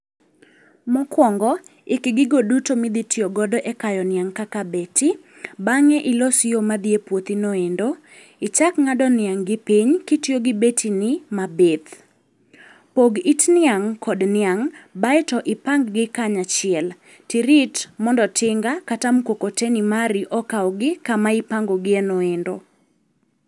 Mokuongo ik gigo duto midhi tiyo godo e kayo niang' kaka beti. Bang'e ilos yo madhi epuothino endo. Ichak ng'ado niang' gi piny kitiyo gi betini mabith. Pog it niang' kod niang' baeto ipang gi kanyachiel. Tirit mondo tinga kata mkokoteni mari okawgi kama ipango gienoendo.